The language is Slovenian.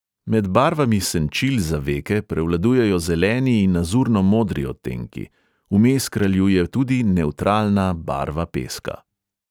Med barvami senčil za veke prevladujejo zeleni in azurno modri odtenki, vmes kraljuje tudi nevtralna barva peska.